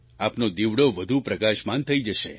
આપનો દીવડો વધુ પ્રકાશમાન થઈ જશે